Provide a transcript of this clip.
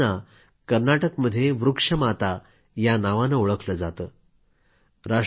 या आजीबाईंना कर्नाटकमध्ये वृक्ष माता या नावानं ओळखलं जातं